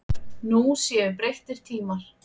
Nú séu breyttir tímar.